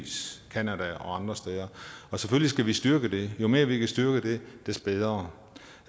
canada og andre steder og selvfølgelig skal vi styrke det jo mere vi kan styrke det des bedre